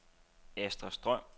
Asta Strøm